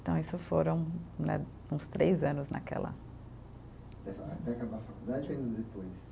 Então isso foram né, uns três anos naquela Até acabar a faculdade ou ainda depois?